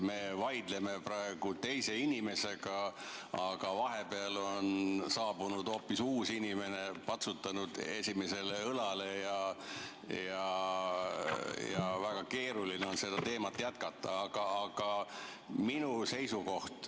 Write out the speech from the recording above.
Me vaidleme praegu teise inimesega, vahepeal on saabunud hoopis uus inimene, patsutanud esimesele õlale, ja väga keeruline on seda teemat jätkata.